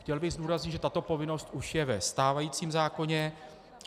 Chtěl bych zdůraznit, že tato povinnost už je ve stávajícím zákoně.